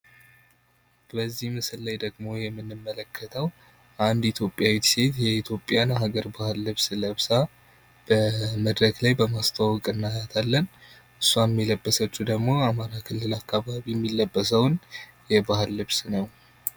በዚህ ምስል ላይ ደግሞ የምንመለከተው አንድ ኢትዮጵያዊት ሴት የኢትዮጵያን የሀገር ባህል ልብስ ለብሳ በመድረክ ላይ በማስተዋወቅ እናያታለን። እሷም የለበሰችው ድግሞ አማራ ክልል አካባቢ የሚለበሰውን የባህል ልብስ ነው።